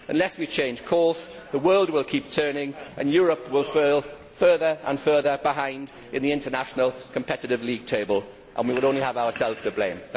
Unless we change course the world will keep turning and Europe will fall further and further behind in the international competitive league table and we will only have ourselves to blame.